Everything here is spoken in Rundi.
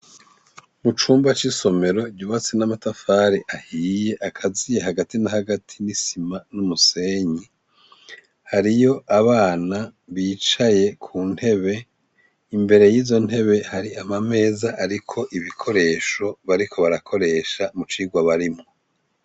Icumba c'isomero ryubatse n'amatafari ahiye akaziye hagati na hagati n'isima n'umusenyi hariyo abana bicaye ku ntebe imbere y'izo ntebe hari amameza airiko ibikoresho bariko barakoresha mu cigwa barimwo.